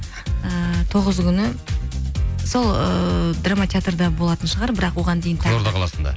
ііі тоғызы күні сол ыыы драма театрда болатын шығар бірақ оған дейін қызылорда қаласында